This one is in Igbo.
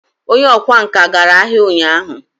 onye okwá nkà gara ahia unyahu